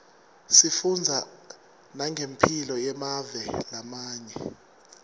sifundza nangemphilo yemave lamanye